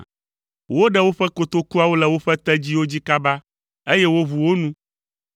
Woɖe woƒe kotokuawo le woƒe tedziwo dzi kaba, eye woʋu wo nu.